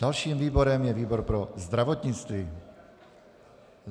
Dalším výborem je výbor pro zdravotnictví.